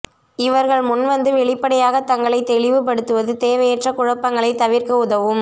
இவர்கள் முன்வந்து வெளிப்படையாக தங்களை தெளிவு படுத்துவது தேவையற்ற குழப்பங்களை தவிர்க்க உதவும்